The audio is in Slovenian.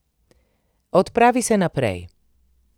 Odpravi se naprej.